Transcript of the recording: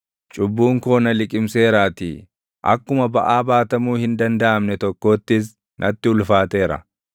Cubbuun koo na liqimseeraatii; akkuma baʼaa baatamuu hin dandaʼamne tokkoottis natti ulfaateera.